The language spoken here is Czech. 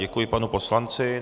Děkuji panu poslanci.